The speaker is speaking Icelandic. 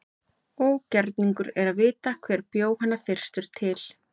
Ógerningur er að vita hver bjó hana fyrstur til.